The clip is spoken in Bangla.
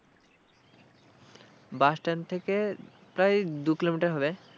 bus stand থেকে প্রায় দু কিলোমিটার হবে।